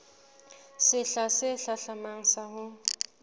sehla se hlahlamang sa ho